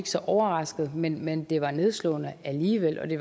så overrasket men men det var nedslående alligevel det